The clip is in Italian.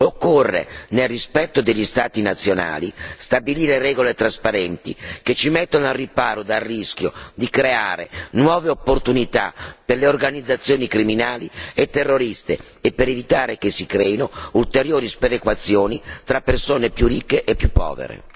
Occorre, nel rispetto degli Stati nazionali, stabilire regole trasparenti, che ci mettano al riparo dal rischio di creare nuove opportunità per le organizzazioni criminali e terroristiche e che ci consentano di evitare la creazione di ulteriori sperequazioni tra persone più ricche e più povere.